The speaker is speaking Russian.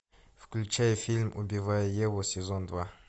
включай фильм убивая еву сезон два